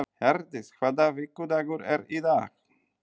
Herdís, hvaða vikudagur er í dag?